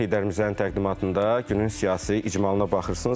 Heydərimizənin təqdimatında günün siyasi icmalına baxırsınız.